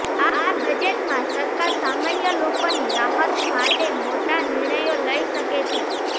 આ બજેટમાં સરકાર સામાન્ય લોકોની રાહત માટે મોટા નિર્ણયો લઈ શકે છે